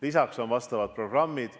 Lisaks on vastavad programmid.